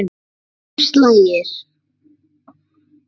Tólf slagir!